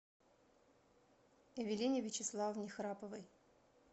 эвелине вячеславовне храповой